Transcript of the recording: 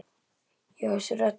Já, þessi rödd.